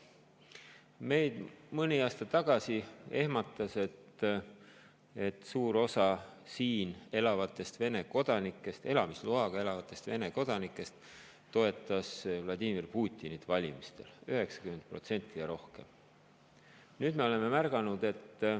Meid mõni aasta tagasi ehmatas, et suur osa siin elamisloaga elavatest Vene kodanikest toetas Vladimir Putinit valimistel, 90% ja rohkem.